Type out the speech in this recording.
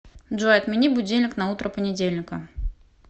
джой отмени будильник на утро понедельника